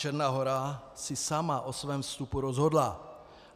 Černá Hora si sama o svém vstupu rozhodla.